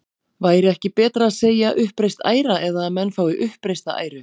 Væri ekki betra að segja uppreist æra eða að menn fái uppreista æru?